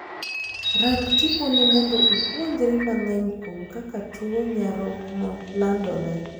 Rang tiponi mondo ipuonjri mang'eny kuom kaka tuo nyarogno landore.